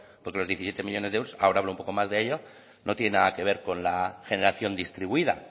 porque los diecisiete millónes de euros ahora hablo un poco más de ello no tiene nada que ver con la generación distribuida